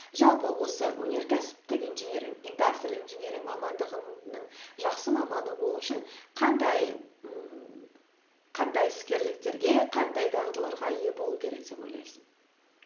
жалпы осы өнеркәсіптік инжиниринг индастриал инжиниринг мамандығының жақсы маманы болу үшін қандай ммм қандай іскерліктерге қандай дағдыларға ие болу керек деп ойлайсың